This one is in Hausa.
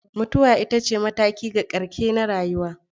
Mutuwa ita ce mataki ga ƙarshe na rayuwa.